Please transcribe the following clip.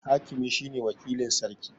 Hakimi shine wakilin Sarki